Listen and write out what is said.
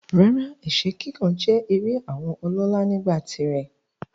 Rárá, ẹ̀sẹ́ kíkàn jẹ́ eré àwọn ọlọ́lá nígbà tirẹ̀.